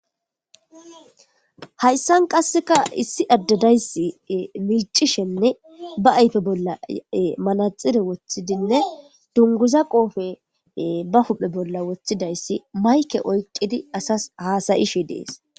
Hayssan qasseka issi addadayssi micishenne ba ayfe bolla manaxire wothidinne dunguza qoofe ba huphe bolla woththidayssi mayke oyqidi asas haasayishe dees.